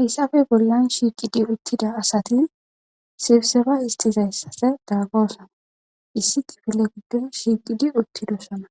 hayssafe bollan shiiqidi uttida asati sibseba isxizayssase daaggoosona issi kifile giddon shiiqidi uttido sona